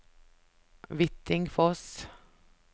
Hvittingfoss